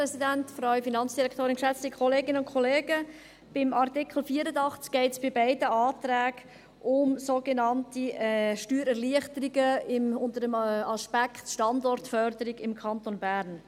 Beim Artikel 84 geht es bei beiden Anträgen um sogenannte Steuererleichterungen unter dem Aspekt Standortförderung im Kanton Bern.